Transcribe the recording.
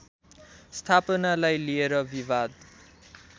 स्थापनालाई लिएर विवाद